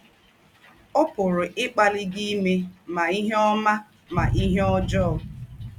Ó pụ̀rù́ íkpàlí gị ímè mà ìhè ọ́má mà ìhè ọ́jọọ.